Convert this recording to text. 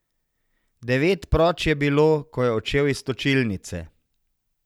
Devet proč je bilo, ko je odšel iz točilnice.